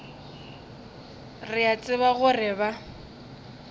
re a tseba gore ba